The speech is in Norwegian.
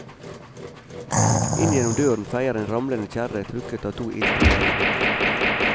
Inn gjennom døren feier en ramlende kjerre trukket av to iltre geitebukker.